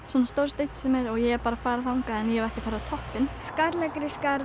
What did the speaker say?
svona stór steinn ég hef farið þangað en ekki farið á toppinn skalla